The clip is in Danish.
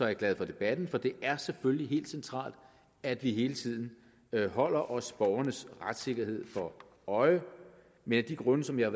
jeg glad for debatten for det er selvfølgelig helt centralt at vi hele tiden holder os borgernes retssikkerhed for øje men af de grunde som jeg